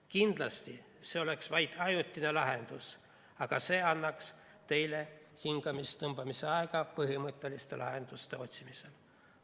Kindlasti oleks see vaid ajutine lahendus, aga see annaks teile hingetõmbeaega põhimõtteliste lahenduste otsimisel.